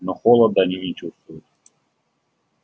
но холода они не чувствуют